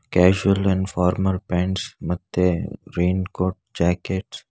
casual and formal pants ಮತ್ತೆ raincoat jackets --